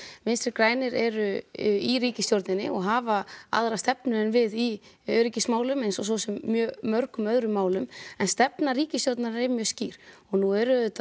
vinstri grænir eru í ríkisstjórninni og hafa aðra stefnu en við í öryggismálum eins og svo sem mjög mörgum öðrum málum en stefna ríkisstjórnarinnar er mjög skýr og nú eru auðvitað